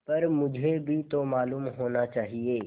पर मुझे भी तो मालूम होना चाहिए